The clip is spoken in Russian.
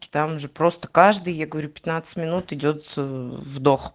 там же просто каждые я говорю пятнадцать минут идёт вдох